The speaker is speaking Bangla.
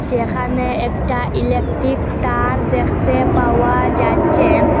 এখানে একটা ইলেকটিক তার দেখতে পাওয়া যাচ্চে।